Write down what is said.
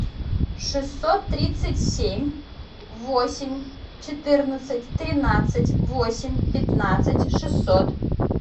шестьсот тридцать семь восемь четырнадцать тринадцать восемь пятнадцать шестьсот